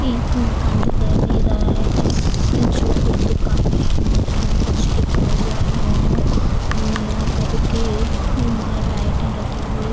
एक मकान दिखाई दे रहा है जिस जो कुछ दुकानें हैं उसमे कुछ लिखा हुआ है मोमो करके यहां लाइटें लगी हुई है।